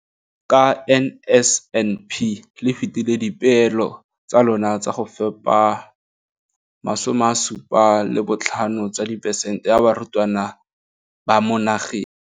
ka NSNP le fetile dipeelo tsa lona tsa go fepa 75 tsa diperesente ya barutwana ba mo nageng.